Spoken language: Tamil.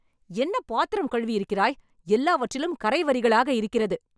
என்ன பாத்திரம் கழுவி இருக்கிறாய்.. எல்லாவற்றிலும் கறை வரிகளாக இருக்கிறது